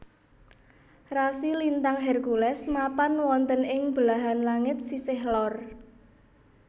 Rasi lintang Hercules mapan wonten ing belahan langit sisih lor